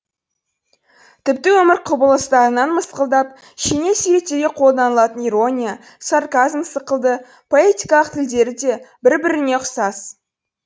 тіпті өмір құбылыстарына мысқылдап шеней суреттеуге қолданылатын ирония сарказм сықылды поэтикалық тілдері де бір біріне ұқсас